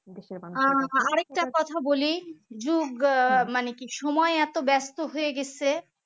আহ আরেকটা কথা বলি যুগ আহ মানে কি সময় এত ব্যস্ত হয়ে গেছে